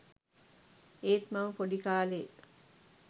ඒත් මම පොඩි කාලේ